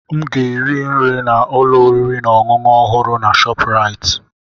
M ga-eri nri na ụlọ oriri na ọṅụṅụ ọhụrụ na Shopuraiti.